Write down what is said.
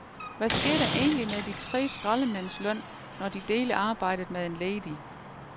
Hvad sker der egentlig med de tre skraldemænds løn, når de deler arbejdet med en ledig?